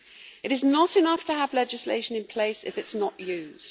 It is not enough to have legislation in place if it is not used.